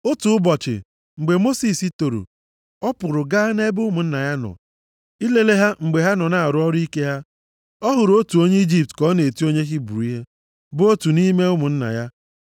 Otu ụbọchị, mgbe Mosis toro, ọ pụrụ gaa nʼebe ụmụnna ya nọ, ilele ha mgbe ha nọ na-arụ ọrụ ike ha. Ọ hụrụ otu onye Ijipt ka ọ na-eti onye Hibru ihe, bụ otu nʼime ụmụnna ya.